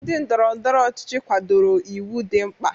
Ndị ndọrọ ndọrọ ọchịchị kwadoro iwu dị mkpa.